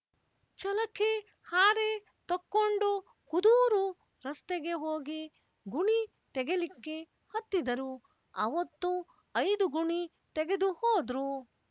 ಛಲಕೆ ಹಾರೆ ತಕ್ಕೊಂಡು ಕುದೂರು ರಸ್ತೆಗೆ ಹೋಗಿ ಗುಣಿ ತೆಗೆಲಿಕ್ಕೆ ಹತ್ತಿದರು ಅವೊತ್ತು ಐದು ಗುಣಿ ತೆಗೆದು ಹೋದ್ರು